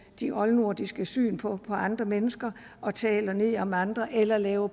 de oldnordiske syn på andre mennesker og taler ned om andre eller laver